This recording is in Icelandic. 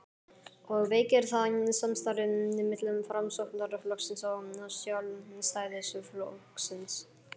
og veikir það samstarfið milli Framsóknarflokksins og Sjálfstæðisflokksins?